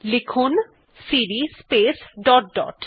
লিখুন CD space dot dot